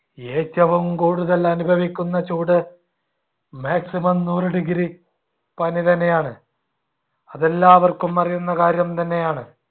ഏറ്റവും കൂടുതൽ അനുഭവിക്കുന്ന ചൂട് maximum നൂറ് degree പനി തന്നെയാണ്. അതെല്ലാവർക്കും അറിയുന്ന കാര്യം തന്നെയാണ്.